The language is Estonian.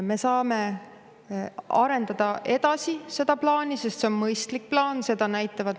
Me saame seda plaani edasi arendada, sest see on mõistlik plaan.